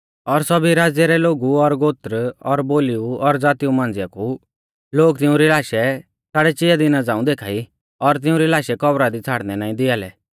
और सौभी राज़्य रै लोगु और गोत्र और बोलीऊ और ज़ातीऊ मांझ़िया कु लोग तिउंरी लाशै साड़ै चिया दिना झ़ांऊ देखा ई और तिउंरी लाशै कब्रा दी छ़ाड़नै नाईं दिआ लै